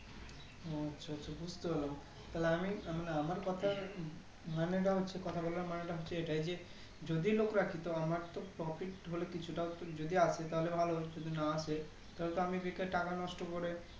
হ্যাঁ আচ্ছা আচ্ছা বুজতে পারলাম তাহলে আমি আমার কথার মানেটা হচ্ছে কথা বলার মানেটা হচ্ছে এটাই যে যদি লোক রাখি তো আমার তো Profit হলে কিছুটা অন যদি আসে তাহলে ভালো যদি না আসে তাহলে তো আমি বেকার টাকা নষ্ট করে